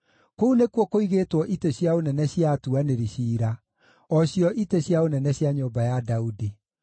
Kũu nĩkuo kũigĩtwo itĩ cia ũnene cia atuanĩri ciira, o cio itĩ cia ũnene cia nyũmba ya Daudi.